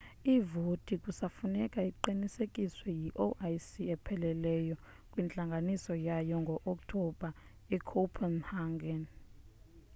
ivoti kusafuneka iqinisekiswe yi-ioc epheleleyo kwintlanganiso yayo ngo-oktobha ecopenhagen